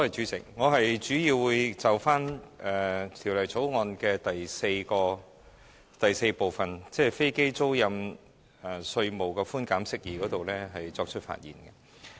主席，我主要會就《2017年稅務條例草案》的第4部分，即"飛機租賃稅務寬減：釋義"發言。